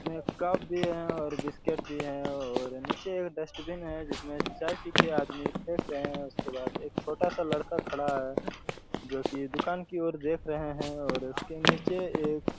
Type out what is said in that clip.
इसमें कप भी हैं और बिस्किट भी और नीचे डस्टबिन हैं जिसमे चाय पी के आदमी फेक रहे हैं उसके बाद एक छोटा-सा लड़का खड़ा हैं जो की एक दुकान की ओर देख रहा हैं और उसके नीचे एक